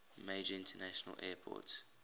major international airport